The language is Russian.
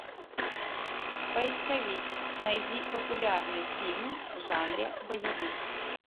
поисковик найди популярные фильмы в жанре боевик